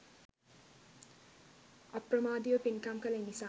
අප්‍රමාදීව පින්කම් කළ නිසාම